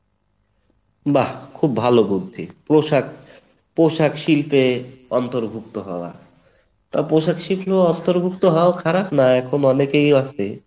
বাহ্ খুব ভালো বুদ্ধি, পোষাক পোষাক শিল্পে অন্তর্ভুক্ত হওয়া, তো পোষাক শিল্পে অন্তর্ভুক্ত হওয়া খারাপ না এখন অনেকেই আছে